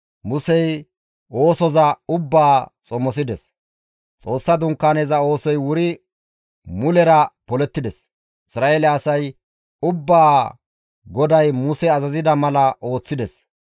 Xoossa Dunkaaneza oosoy wuri mulera polettides. Isra7eele asay ubbaa GODAY Muse azazida mala ooththides.